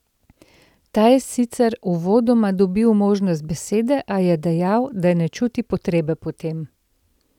Ta je sicer uvodoma dobil možnost besede, a je dejal, da ne čuti potrebe po tem.